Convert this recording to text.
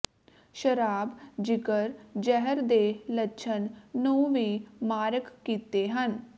ਸ਼ਰਾਬ ਜਿਗਰ ਜ਼ਹਿਰ ਦੇ ਲੱਛਣ ਨੂੰ ਵੀ ਮਾਰਕ ਕੀਤੇ ਹਨ